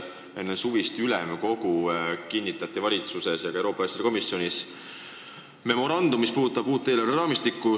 Enne suvist ülemkogu kinnitati valitsuses ja ka Euroopa Liidu asjade komisjonis memorandum, mis käsitleb uut eelarveraamistikku.